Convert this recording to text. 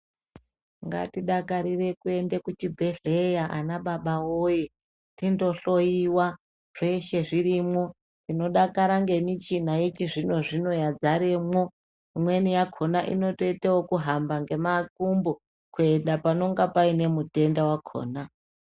Ngatidakarire kuende kuchibhedhleya ana baba woye, tindohloyiwa. Zveshe zvirimwo, tinodakara ngemichina yechizvino-zvino yadzaremwo. Imweni yakona inotoite yekuhamba ngemakumbo kuenda panonga paine mutenda wakona.